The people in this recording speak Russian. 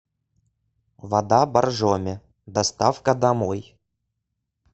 вода боржоми доставка домой